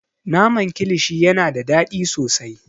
Naman kilishi yana da daɗi sosai.